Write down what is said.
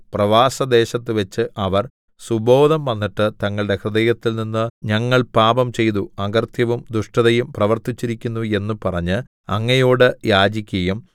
പ്രവാസദേശത്തുവച്ച് അവർ സുബോധം വന്നിട്ട് തങ്ങളുടെ ഹൃദയത്തിൽനിന്ന് ഞങ്ങൾ പാപംചെയ്തു അകൃത്യവും ദുഷ്ടതയും പ്രവർത്തിച്ചിരിക്കുന്നു എന്നു പറഞ്ഞ് അങ്ങയോടു യാചിക്കയും